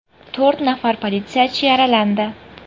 To‘rt nafar politsiyachi yaralandi.